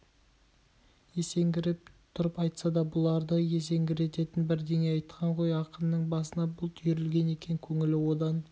есеңгіреп тұрып айтса да бұларды есеңгірететін бірдеңе айтқан ғой ақынның басына бұлт үйірілген екен көңілі одан